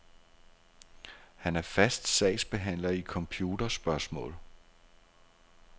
Han er fast sagsbehandler i computerspørgsmål.